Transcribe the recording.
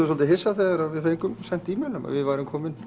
svolítið hissa þegar við fengum símtal um að við værum komin